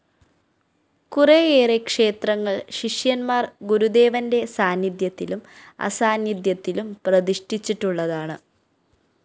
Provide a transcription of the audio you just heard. കുറേയേറെ ക്ഷേത്രങ്ങള്‍ ശിഷ്യന്മാര്‍ ഗുരുദേവന്റെ സാന്നിധ്യത്തിലും അസാന്നിധ്യത്തിലും പ്രതിഷ്ഠിച്ചിട്ടുള്ളതാണ്